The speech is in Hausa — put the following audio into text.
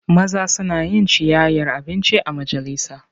Maza suna yin ciyayyar abinci a majalisa.